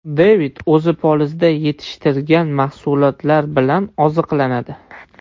Devid o‘zi polizda yetishtirgan mahsulotlar bilan oziqlanadi.